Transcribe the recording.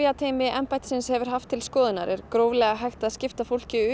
lyfjateymi embættisins hefur haft til skoðunar er gróflega hægt að skipta fólkinu